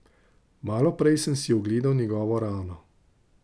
Malo prej sem si ogledal njegovo rano.